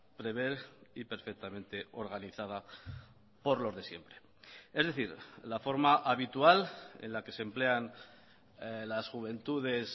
prever y perfectamente organizada por los de siempre es decir la forma habitual en la que se emplean las juventudes